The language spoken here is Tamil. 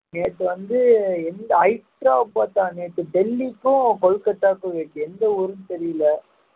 நேற்று வந்து எந்த ஹைதராபாத்தா நேத்து டெல்லிக்கும் கொல்கத்தாவுக்கும் இருந்துச்சு எந்த ஊருன்னு தெரியல